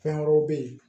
Fɛn wɛrɛw bɛ ye